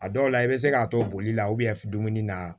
A dɔw la i bɛ se k'a to boli la dumuni na